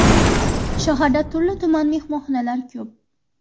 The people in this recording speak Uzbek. Shaharda turli-tuman mehmonxonalar ko‘p.